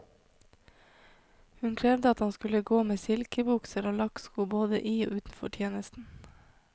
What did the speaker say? Hun krevde at han skulle gå med silkebukser og lakksko både i og utenfor tjeneste.